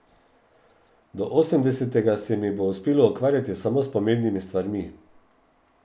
Do osemdesetega se mi bo uspelo ukvarjati samo s pomembnimi stvarmi.